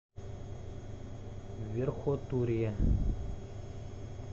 верхотурье